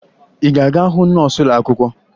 Ị ga-aga hụ nọọsụ ụlọakwụkwọ?